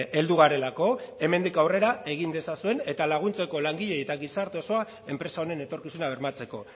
heldu garelako hemendik aurrera egin dezazuen eta laguntzeko langileei eta gizarte osoa enpresa honen etorkizuna bermatzeko